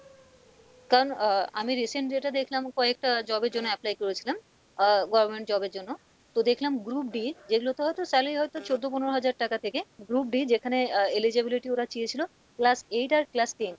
কারণ আহ আমি recent যেটা দেখলাম কয়েকটা job এর জন্য apply করেছিলাম আহ government job এর জন্য তো দেখলাম group d যেগুলো তে হয়তো salary হয়তো চোদ্দ পনেরো হাজার টাকা থেকে group d যেখানে আহ eligibility ওরা চেয়েছিলো class eight আর class ten,